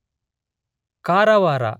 Karwar